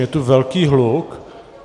Je tu velký hluk.